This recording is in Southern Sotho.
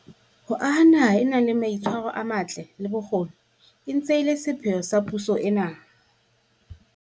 Ho aha naha e nang le mai tshwaro a matle, le bokgoni e ntse e le sepheo sa puso ena.